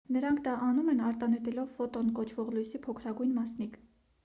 նրանք դա անում են արտանետելով ֆոտոն կոչվող լույսի փոքրագույն մասնիկ